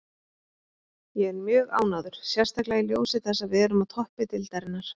Ég er mjög ánægður, sérstaklega í ljósi þess að við erum á toppi deildarinnar.